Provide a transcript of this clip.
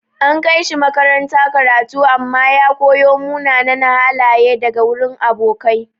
An kai shi makaranta karatu amma ya koyo munanan halaye daga wurin abokai.